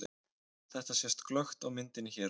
Þetta sést glöggt á myndinni hér á eftir.